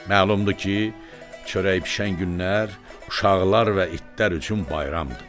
Məlumdur ki, çörək bişən günlər uşaqlar və itlər üçün bayramdır.